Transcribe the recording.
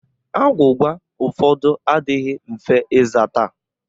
Agwụgwa ụfọdụ adịghị mfe ịzata